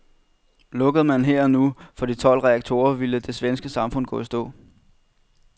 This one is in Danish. Lukkede man her og nu for de tolv reaktorer, ville det svenske samfund gå i stå.